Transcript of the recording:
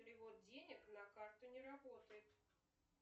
перевод денег на карту не работает